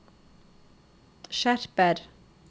skjerper